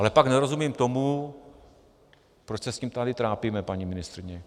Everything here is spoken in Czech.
Ale pak nerozumím tomu, proč se s tím tady trápíme, paní ministryně.